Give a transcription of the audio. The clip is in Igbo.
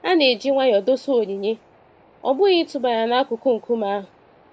A na-eji nwayọ dosa onyinye, ọ bụghị ịtụba ya n'akụkụ nkume ahụ.